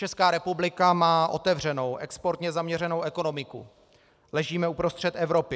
Česká republika má otevřenou, exportně zaměřenou ekonomiku, ležíme uprostřed Evropy.